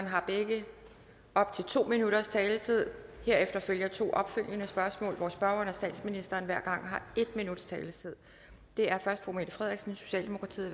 har begge op til to minutters taletid herefter følger to opfølgende spørgsmål hvor spørgeren og statsministeren hver gang har en minuts taletid det er først fru mette frederiksen socialdemokratiet